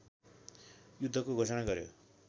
युद्धको घोषणा गर्‍यो